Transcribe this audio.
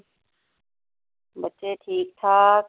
ਬੱਚੇ ਠੀਕ ਠਾਕ।